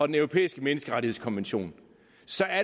den europæiske menneskerettighedskonvention